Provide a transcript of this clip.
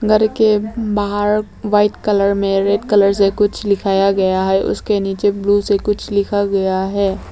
घर के बाहर व्हाइट कलर में रेड कलर से कुछ लिखाया गया है उसके नीचे ब्लू से कुछ लिखा गया है।